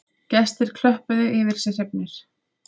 Gestirnir klöppuðu yfir sig hrifnir